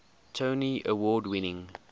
tony award winning